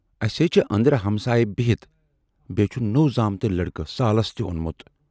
اَسہِ ہے چھِ ٲندرٕ ہمسایہِ بِہِتھ، بییہِ چھُ نوو زامتٕرۍ لٔڑکہٕ سالس تہِ اونمُت۔